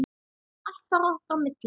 Allt bara okkar á milli.